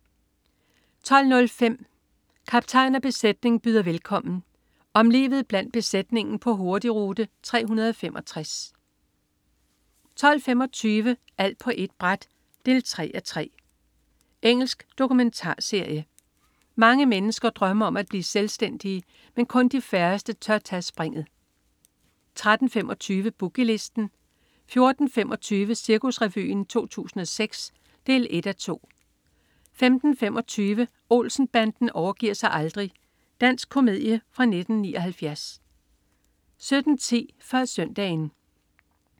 12.05 Kaptajn og besætning byder velkommen. Om livet blandt besætningen på Hurtigrute 365 12.25 Alt på ét bræt 3:3. Engelsk dokumentarserie. Mange mennesker drømmer om at blive selvstændige, men kun de færreste tør tage springet 13.25 Boogie Listen 14.25 Cirkusrevyen 2006. 1:2 15.25 Olsen-banden overgiver sig aldrig. Dansk komedie fra 1979 17.10 Før Søndagen